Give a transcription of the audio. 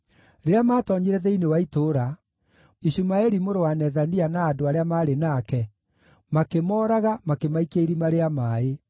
Rĩrĩa maatoonyire thĩinĩ wa itũũra, Ishumaeli mũrũ wa Nethania na andũ arĩa maarĩ nake, makĩmooraga, makĩmaikia irima rĩa maaĩ.